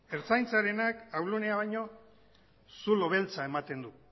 ertzaintzarenak ahul gunea baino zulo beltza ematen du